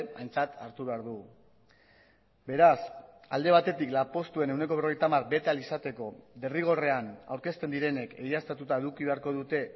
aintzat hartu behar dugu beraz alde batetik lanpostuen ehuneko berrogeita hamar ahal izateko derrigorrean aurkezten direnek egiaztatuta eduki beharko dute